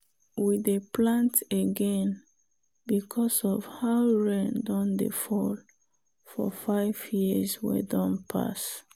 we dey plant again because of how rain don dey fall for five years wey don pass.